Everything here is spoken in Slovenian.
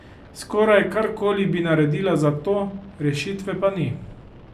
Skoraj karkoli bi naredila za to, rešitve pa ni.